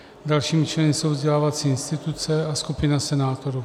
Dalšími členy jsou vzdělávací instituce a skupina senátorů.